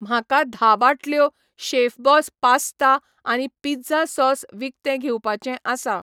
म्हाका धा बाटल्यो शेफबॉस पास्ता आनी पिझ्झा सॉस विकतें घेवपाचे आसा